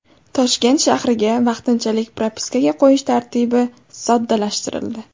Toshkent shahriga vaqtinchalik propiskaga qo‘yish tartibi soddalashtirildi.